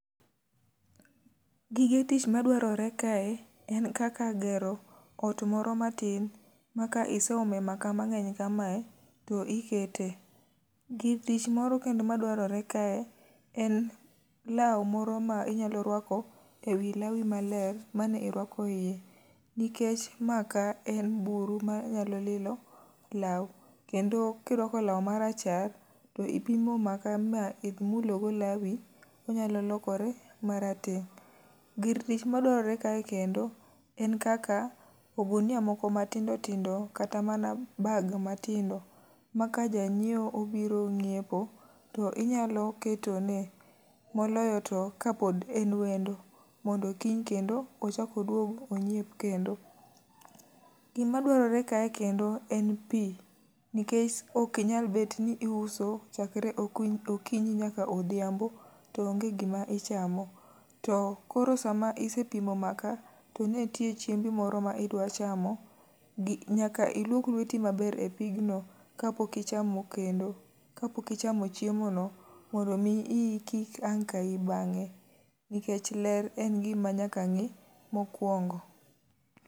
Gige tich ma dwarore kae en kaka gero ot moro matin ma ka iseome maka mang'eny kamae, to ikete. Gir tich moro kendo ma dwarore kae, en lawu moro ma inyalo rwako ewi lawi maler mane irwako iye. Nikech maka en buru ma nyalo lilo lawu, kendo kirwako lawu marachar to ipimo maka ma imulo go lawi, onyalo lokore marateng'. Gir tich madwarore kae kendo, en kaka ogunia moko ma tindo tindo kata mana bag ma tindo. Ma ka janyiewo obiro nyiepo, to inyalo ketone moloyo to kapod en wendo, mondo kiny kendo ochak oduog onyiep kendo. Gima dwarore kae kendo en pi, nikech ok inyal bet ni iuso chakre okinyi nyaka odhiambo to onge gima ichamo. To koro sama ise pimo maka, to ne ntie chiembo moro ma idwa chamo, gi nyaka ilwok lweti maber e pigno. Ka pok ichamo kendo, ka pok ichamo chiemo no, mondo mi iyi kik ang' kayi bang'e. Nikech ler en gima nyaka ng'i mokwongo.